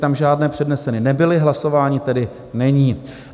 Tam žádné předneseny nebyly, hlasování tedy není.